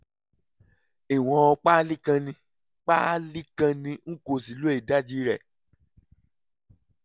ìwọ̀n páálí kan ni páálí kan ni n kò sì lo ìdajì rẹ̀